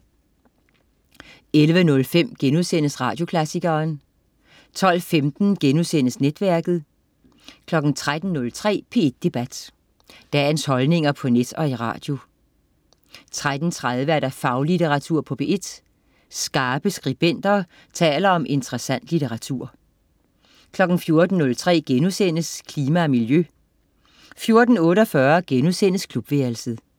11.05 Radioklassikeren* 12.15 Netværket* 13.03 P1 Debat. Dagens holdninger på net og i radio 13.30 Faglitteratur på P1. Skarpe skribenter taler om interessant litteratur 14.03 Klima og miljø* 14.48 Klubværelset*